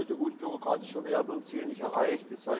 Es sollte unbürokratischer werden Ziel nicht erreicht.